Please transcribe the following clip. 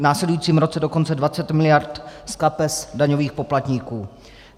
V následujícím roce dokonce 20 mld. z kapes daňových poplatníků.